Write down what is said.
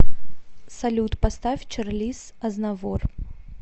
салют поставь чарлиз азнавур